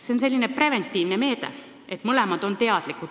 See on selline preventiivne meede, millest mõlemad on teadlikud.